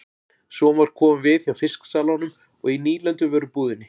Svo var komið við hjá fisksalanum og í nýlenduvörubúðinni.